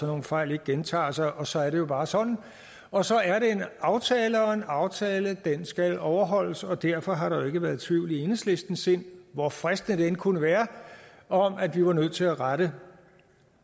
nogle fejl ikke gentager sig og så er det jo bare sådan og så er det en aftale og en aftale skal overholdes og derfor har der jo ikke været tvivl i enhedslistens sind hvor fristende det end kunne være om at vi var nødt til at rette